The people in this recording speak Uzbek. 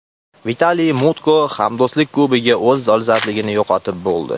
Vitaliy Mutko: Hamdo‘stlik Kubogi o‘z dolzarbligini yo‘qotib bo‘ldi.